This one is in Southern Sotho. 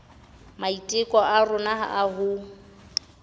maiteko a rona a ho